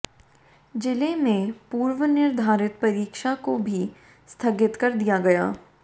जिले में पूर्व निर्धारित परीक्षा को भी स्थगित कर दिया गया